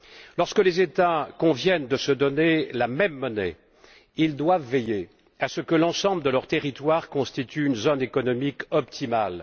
Lorsque les États conviennent de se donner la même monnaie, ils doivent veiller à ce que l'ensemble de leurs territoires constitue une zone économique optimale.